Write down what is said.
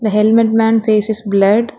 The helmet man face is blurred.